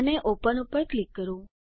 અને ઓપન ઉપર ક્લિક કરો